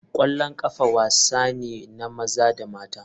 Kwallon kafa wasa ne na maza da mata.